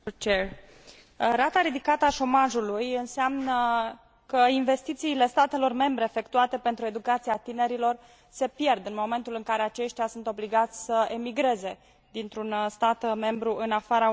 Rata ridicată a șomajului înseamnă că investițiile statelor membre efectuate pentru educația tinerilor se pierd în momentul în care aceștia sunt obligați să emigreze dintr un stat membru în afara Uniunii Europene.